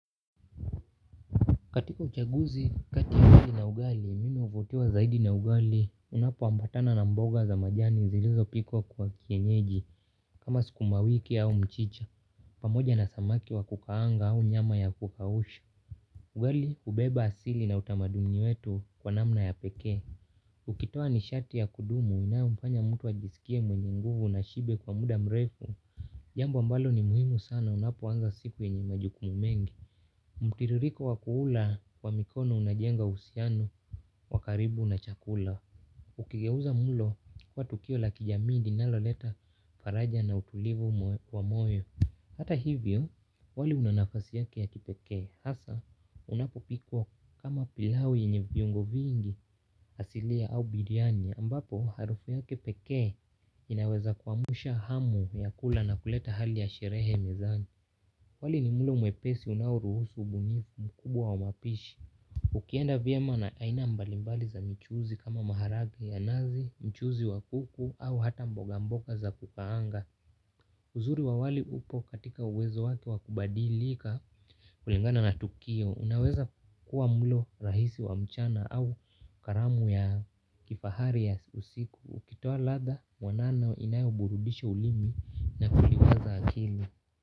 Katiko uchaguzi, kati wali na ugali, mimi uvutiwa zaidi na ugali, unapoambatana na mboga za majani zilizopikwa kwa kienyeji, kama skuma wiki au mchicha, pamoja na samaki wa kukaanga au nyama ya kukausha. Ugali, hubeba asili na utamaduni wetu kwa namna ya pekee. Ukitoa nishati ya kudumu, inayomfanya mtu ajisikie mwenye nguvu na shibe kwa mda mrefu. Jambo ambalo ni muhimu sana unapoanza siku yenye majukumu mengi. Mtiririko wa kuula wa mikono unajenga uhusiano wa karibu na chakula. Ukigeuza mlo kuwa tukio la kijamii linaloleta faraja na utulivu wa moyo. Hata hivyo wali una nafasi yake ya kipekee. Hasa unapopikwo kama pilau yenye viungo vingi asilia au biryani ambapo harufu yake pekee inaweza kuamsha hamu ya kula na kuleta hali ya sherehe mezani. Wali ni mlo mwepesi unaoruhusu ubunifu mkubwa wa mapishi. Ukienda vyema na aina mbalimbali za michuuzi kama maharage ya nazi, mchuuzi wa kuku au hata mboga mboga za kukaanga. Uzuri wa wali upo katika uwezo wake wa kubadilika kulingana na tukio. Unaweza kuwa mlo rahisi wa mchana au karamu ya kifahari ya usiku. Ukitoa ladha mwanano inayoburudisha ulimi na kuliwaza akili.